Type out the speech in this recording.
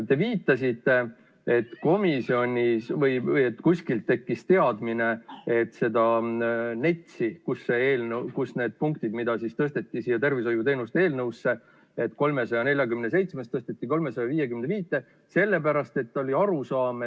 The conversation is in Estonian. Te viitasite, et komisjonis või kuskil tekkis teadmine, et seda NETS-i, kust osa punkte tõsteti siia tervishoiuteenuste eelnõusse – eelnõust 347 tõsteti eelnõusse 355 –.